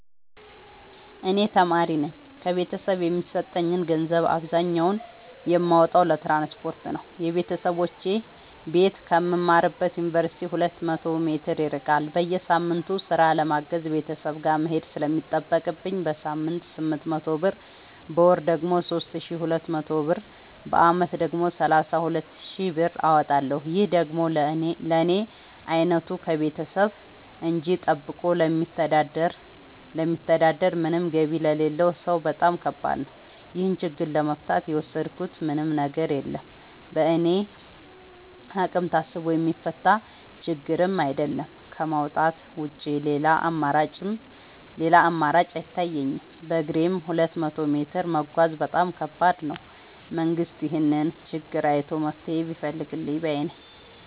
እኔ ተማሪነኝ ከቤተሰብ የሚሰጠኝን ገንዘብ አብዛኛውን የማወጣው ለትራንስፖርት ነው የበተሰቦቼ ቤት ከምማርበት ዮንቨርሲቲ ሁለት መቶ ሜትር ይርቃል። በየሳምቱ ስራ ለማገዝ ቤተሰብ ጋር መሄድ ስለሚጠቅብኝ በሳምንት ስምንት መቶ ብር በወር ደግሞ ሶስት ሺ ሁለት መቶ ብር በአመት ደግሞ ሰላሳ ሁለት ሺ ብር አወጣለሁ ይህ ደግሞ ለኔ አይነቱ ከቤተሰብ እጂ ጠብቆ ለሚተዳደር ምንም ገቢ ለሌለው ሰው በጣም ከባድ ነው። ይህን ችግር ለመፍታት የወሰድኩት ምንም ነገር የለም በእኔ አቅም ታስቦ የሚፈታ ችግርም አይደለም ከማውጣት ውጪ ሌላ አማራጭ አይታየኝም በግሬም ሁለት መቶ ሜትር መጓዝ በጣም ከባድ ነው። መንግስት ይህንን ችግር አይቶ መፍትሔ ቢፈልግልን ባይነኝ።